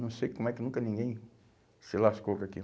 Não sei como é que nunca ninguém se lascou com aquilo.